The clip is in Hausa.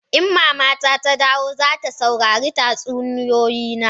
In mama ta dawo, za ta saurari tatsuniyoyi na.